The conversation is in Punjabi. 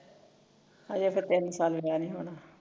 ਹਜੇ ਤਾਂ ਤਿੰਨ ਸਾਲ ਵਿਆਹ ਨੀ ਹੋਣਾ